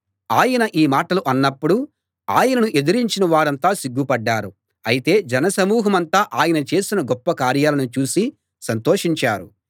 ఆయన ఈ మాటలు అన్నప్పుడు ఆయనను ఎదిరించిన వారంతా సిగ్గుపడ్డారు అయితే జనసమూహమంతా ఆయన చేసిన గొప్ప కార్యాలను చూసి సంతోషించారు